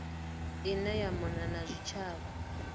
ine ya mona na zwitshavha